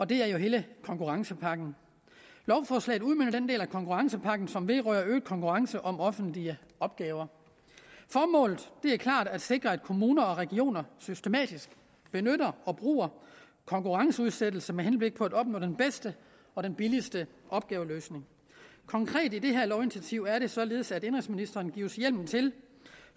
det er jo hele konkurrencepakken lovforslaget udmønter den del af konkurrencepakken som vedrører øget konkurrence om offentlige opgaver formålet er klart at sikre at kommuner og regioner systematisk bruger konkurrenceudsættelse med henblik på at opnå den bedste og den billigste opgaveløsning konkret i det her lovinitiativ er det således at indenrigsministeren gives hjemmel til